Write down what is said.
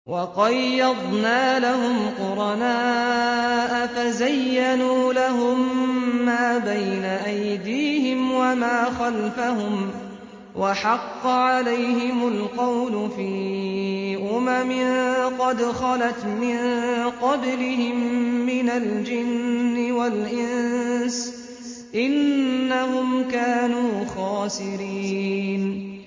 ۞ وَقَيَّضْنَا لَهُمْ قُرَنَاءَ فَزَيَّنُوا لَهُم مَّا بَيْنَ أَيْدِيهِمْ وَمَا خَلْفَهُمْ وَحَقَّ عَلَيْهِمُ الْقَوْلُ فِي أُمَمٍ قَدْ خَلَتْ مِن قَبْلِهِم مِّنَ الْجِنِّ وَالْإِنسِ ۖ إِنَّهُمْ كَانُوا خَاسِرِينَ